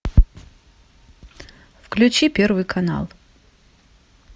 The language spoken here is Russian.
включи первый канал